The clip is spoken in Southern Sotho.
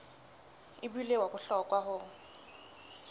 e bile wa bohlokwa ho